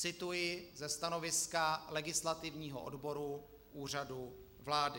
Cituji ze stanoviska legislativního odboru Úřadu vlády.